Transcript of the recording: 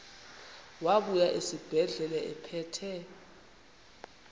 wabuya esibedlela ephethe